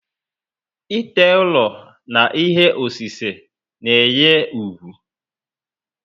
Ite ụlọ na ihe osise na enye úgwú